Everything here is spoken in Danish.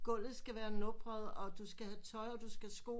Gulvet skal være nubret og du skal have tøj og du skal have sko